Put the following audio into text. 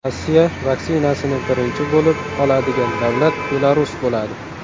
Rossiya vaksinasini birinchi bo‘lib oladigan davlat Belarus bo‘ladi.